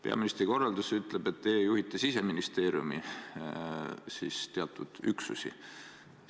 Peaministri korraldus ütleb, et teie juhite Siseministeeriumi teatud üksusi.